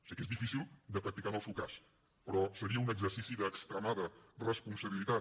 sé que és difícil de practicar en el seu cas però seria un exercici d’extremada responsabilitat